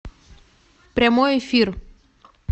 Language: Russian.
прямой эфир